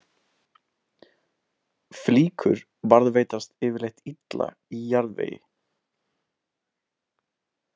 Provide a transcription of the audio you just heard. Flíkur varðveitast yfirleitt illa í jarðvegi.